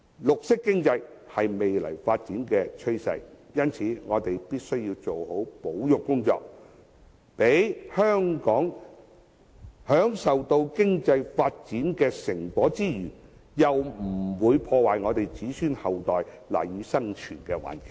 綠色經濟是未來發展的趨勢，我們必須做好保育工作，讓香港享受經濟發展的成果之餘，又不會破壞我們子孫後代賴以生存的環境。